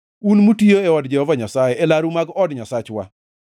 un mutiyo e od Jehova Nyasaye, e laru mag od Nyasachwa.